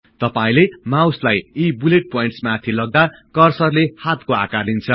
तपाईले माउसलाई यी बुलेट प्वाईन्टस् माथि लग्दा कर्सरले हातको आकार लिन्छ